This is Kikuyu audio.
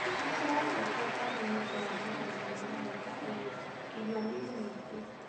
Nĩ tũracokia ngatho nĩũndũ wa magetha ma mwaka ũyũ, irio ni yingĩ.